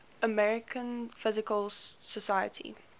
american physical society